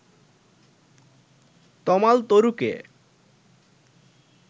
তমাল তরুকে